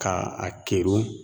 Ka a kerun